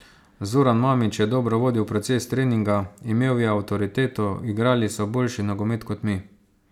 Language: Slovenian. Zoran Mamić je dobro vodil proces treninga, imel je avtoriteto, igrali so boljši nogomet kot mi.